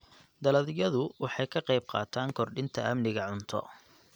Dalagyadu waxay ka qayb qaataan kordhinta amniga cunto.